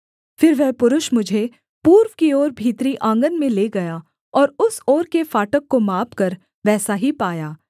फिर वह पुरुष मुझे पूर्व की ओर भीतरी आँगन में ले गया और उस ओर के फाटक को मापकर वैसा ही पाया